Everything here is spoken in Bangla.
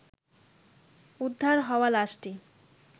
উদ্ধার হওয়া লাশটি